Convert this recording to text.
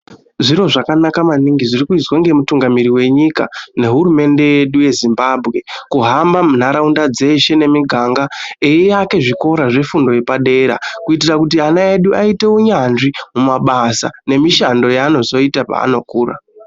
Zviro zvakanaka maningi zviri kuizwa nemutungamiri wenyika nehurumende yedu yeZimbabwe kuhamba munharaunda dzeshe nemiganga eiyake zvikora zvefundo yepadera kutira kuti ananl edu aite unyanzvi mumabasa nemishando yaanozoita paanokura.